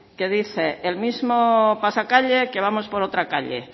que dice el mismo pasacalle que vamos por otra calle